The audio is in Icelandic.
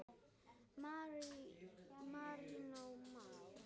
Marinó Már.